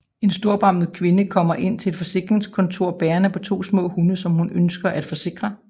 En storbarmet kvinde kommer ind til et forsikringskontor bærende på to små hunde som hun ønsker at forsikre